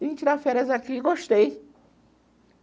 Vim tirar férias aqui e gostei.